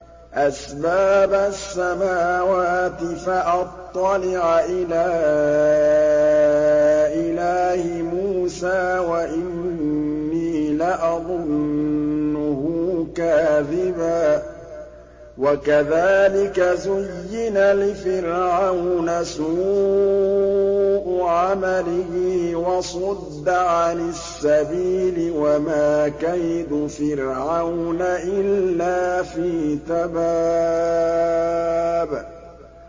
أَسْبَابَ السَّمَاوَاتِ فَأَطَّلِعَ إِلَىٰ إِلَٰهِ مُوسَىٰ وَإِنِّي لَأَظُنُّهُ كَاذِبًا ۚ وَكَذَٰلِكَ زُيِّنَ لِفِرْعَوْنَ سُوءُ عَمَلِهِ وَصُدَّ عَنِ السَّبِيلِ ۚ وَمَا كَيْدُ فِرْعَوْنَ إِلَّا فِي تَبَابٍ